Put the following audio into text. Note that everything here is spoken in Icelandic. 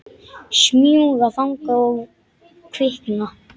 Smjúga þangað og kvikna.